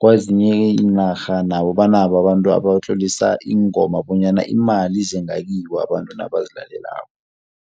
Kwezinye iinarha nabo banabo abantu abatlolisa iingoma bonyana imali ize ngakibo abantu nabazilalelako.